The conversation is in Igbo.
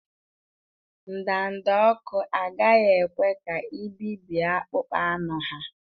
Ndanda ọkụ agaghị ekwe ka i bibie akpụkpọ anụ ha.